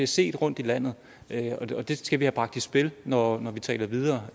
set rundtom i landet og det skal vi have bragt i spil når vi taler videre